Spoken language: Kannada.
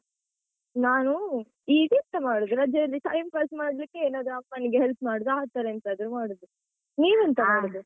ನಾನು ಈಗೆಂತ ಮಾಡುದು, ರಜೆಯಲ್ಲಿ time pass ಮಾಡ್ಲಿಕ್ಕೆ ಏನಾದ್ರು ಅಮ್ಮನಿಗೆ help ಮಾಡುದು ಆತರ ಎಂತಾದ್ರು ಮಾಡುದು. ನೀವೆಂತ ಮಾಡುದು?